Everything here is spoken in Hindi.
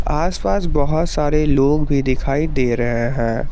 आस पास बहोत सारे लोग भी दिखाई दे रहे हैं।